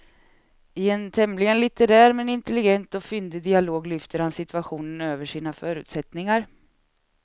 I en tämligen litterär men intelligent och fyndig dialog lyfter han situationen över sina förutsättningar.